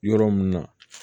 Yɔrɔ mun na